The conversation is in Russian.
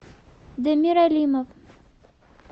дамир алимов